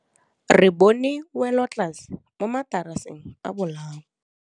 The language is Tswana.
Re bone wêlôtlasê mo mataraseng a bolaô.